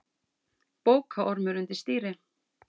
Bókaormur undir stýri